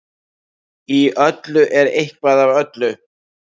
Í öllu er eitthvað af öllu.